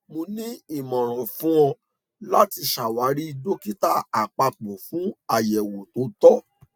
mo ni imọran fun ọ lati ṣawari dokita apapọ fun ayẹwo to tọ